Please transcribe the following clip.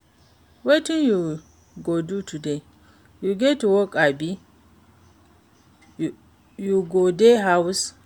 Wetin you go do today? You get work abi you go dey house?